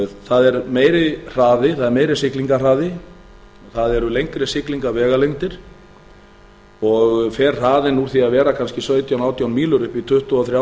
það er meiri siglingahraði það eru lengri siglingavegalengdir og fer hraðinn úr því að vera kannski sautján til átján mílur upp í tuttugu og þrjú